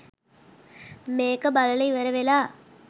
මේක බලල ඉවරවෙලා